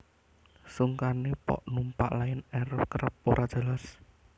Sungkane pok numpak Lion Air kerep ora jelas